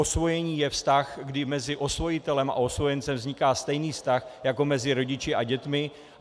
Osvojení je vztah, kdy mezi osvojitelem a osvojencem vzniká stejný vztah jako mezi rodiči a dětmi.